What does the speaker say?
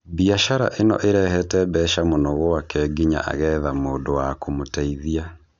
Biacara ino irehete mbeca mũno gwake nginya agetha mũndũ wa kũmũteithia.